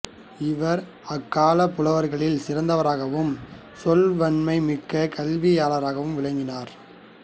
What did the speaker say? இவர் அக்காலப் புலவர்களில் சிறந்தவராகவும் சொல்வன்மை மிக்க கல்வியாளராகவும் விளங்கினார்